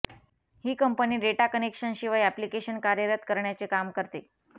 ही company data कनेक्शनशिवाय application कार्यरत करण्याचे काम करते